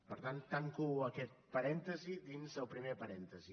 per tant tanco aquest parèntesi dins del primer parèntesi